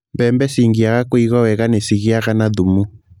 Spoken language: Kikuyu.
Mbembe cingĩaga kũigwo wega nĩcigĩaga na thumu.